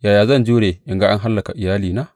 Yaya zan jure in ga an hallaka iyalina?